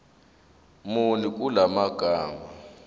muni kula magama